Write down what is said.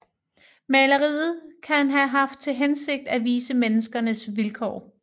Maleriet kan have haft til hensigt at vise menneskenes vilkår